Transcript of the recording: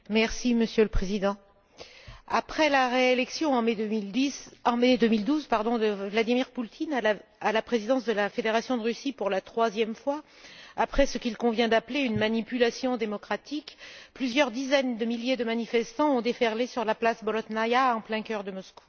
Monsieur le Président, après la réélection, en mai 2012, de Vladimir Poutine à la présidence de la Fédération de Russie pour la troisième fois, après ce qu'il convient d'appeler une manipulation démocratique, plusieurs dizaines de milliers de manifestants ont déferlé sur la place Bolotnaïa, en plein cœur de Moscou.